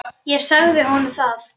Ég sagði honum það.